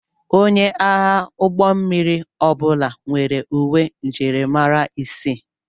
Onye agha ụgbọ mmiri ọbụla nwere uwe njirimara isii.